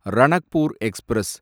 Ranakpur express